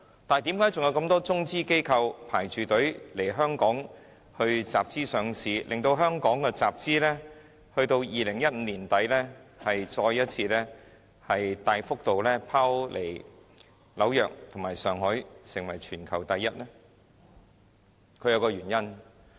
但是，為何還有如此多中資機構排隊來香港集資上市，致令香港2015年年底的集資額再次大幅度拋離紐約和上海，成為全球第一？